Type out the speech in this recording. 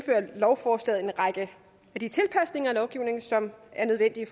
lovforslaget en række af de tilpasninger af lovgivningen som er nødvendige i